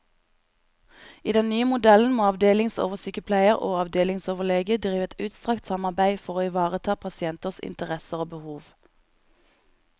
I den nye modellen må avdelingsoversykepleier og avdelingsoverlege drive et utstrakt samarbeide for å ivareta pasienters interesser og behov.